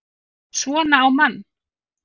SVONA Á MANN!